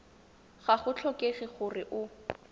ga go tlhokege gore o